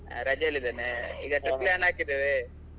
ರಜೆ ಅಲ್ಲಿ ಇದ್ದೇನೆ trip plan ಹಾಕಿದ್ದೇವೆ.